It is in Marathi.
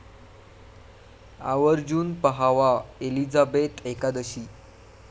आवर्जून पाहावा 'एलिझाबेथ एकादशी'